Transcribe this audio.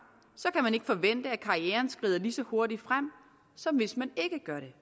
kan man ikke forvente at karrieren skrider lige så hurtigt frem som hvis man ikke gør det